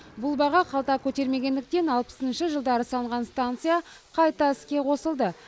бұл баға қалта көтермегендіктен алпысыншы жылдары салынған станция қайта іске қосылды